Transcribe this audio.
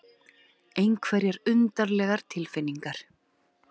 Einhverjar undarlegar tilfinningar.